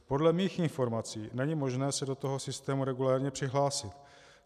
Podle mých informací není možné se do toho systému regulérně přihlásit.